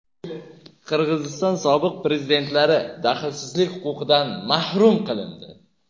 Qirg‘iziston sobiq prezidentlari daxlsizlik huquqidan mahrum qilindi.